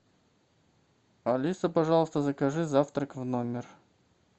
алиса пожалуйста закажи завтрак в номер